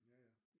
Ja ja